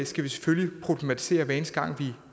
selvfølgelig problematisere hver eneste gang